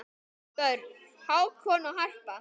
Börn: Hákon og Harpa.